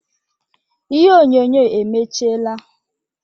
Ihe onyonyo emechiela